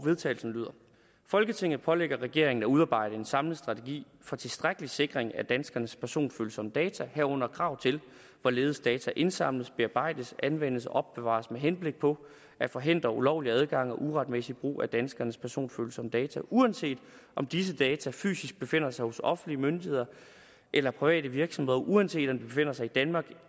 vedtagelse folketinget pålægger regeringen at udarbejde en samlet strategi for tilstrækkelig sikring af danskernes personfølsomme data herunder krav til hvorledes data indsamles bearbejdes anvendes og opbevares med henblik på at forhindre ulovlig adgang og uretmæssig brug af danskernes personfølsomme data uanset om disse data fysisk befinder sig hos offentlige myndigheder eller private virksomheder og uanset om de befinder sig i danmark